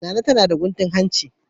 Nana tana da guntun hanci.